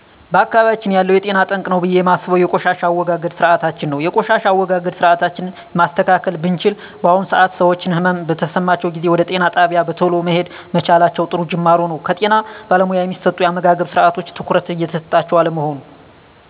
በአካባቢያችን ያለው ለጤና ጠንቅ ነው ብየ እማስበው የቆሻሻ አወጋገድ ስርአታችን ነው የቆሻሻ አወጋገድ ስርአታችን ማስተካከል ብችል በአሁኑ ሰአት ሰወች ህመም በተሰማቸው ጊዜ ወደ ጤና ጣቢያ በተሎ መሄድ መቻላቸው ጥሩ ጁማሮ ነው ከጤና ባለሙያ እሚሰጡ የአመጋገብስርአቶች ትኩረት እየተሰጣቸው አለመሆኑ